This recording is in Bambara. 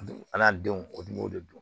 An n'an denw o dun b'o de don